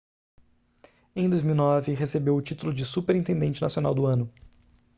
em 2009 recebeu o título de superintendente nacional do ano